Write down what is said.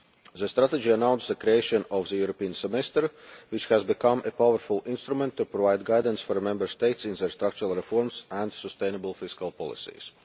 The Strategy announced the creation of the European Semester, which has become a powerful instrument to provide guidance for the Member States in their structural reforms and sustainable fiscal policies.